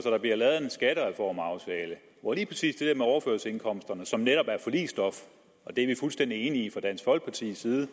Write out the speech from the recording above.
at der bliver lavet en skattereformaftale hvor lige præcis det der med overførselsindkomsterne som netop er forligsstof det er vi fuldstændig enige i fra dansk folkepartis side